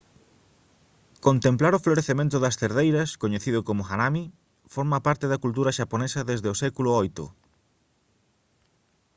contemplar o florecemento das cerdeiras coñecido como «hanami» forma parte da cultura xaponesa desde o século viii